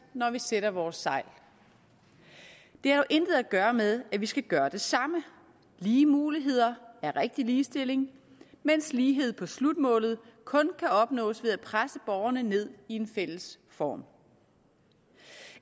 når vi sætter vores sejl det har dog intet at gøre med at vi skal gøre det samme lige muligheder er rigtig ligestilling mens lighed på slutmålet kun kan opnås ved at presse borgerne ned i en fælles form